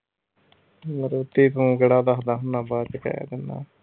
maruti ਤੂੰ ਕਿਹੜਾ ਦੱਸਦਾ ਹੁੰਦਾ ਬਾਅਦ ਵਿੱਚ ਕਹਿ ਦਿੰਦਾ।